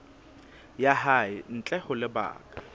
ya hae ntle ho lebaka